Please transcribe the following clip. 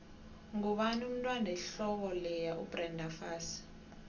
ngubani umntwand wehloko leya ubrenda fassie